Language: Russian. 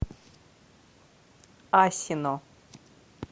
асино